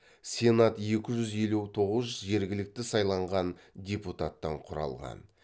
сенат екі жүз елу тоғыз жергілікті сайланған депутаттан құралған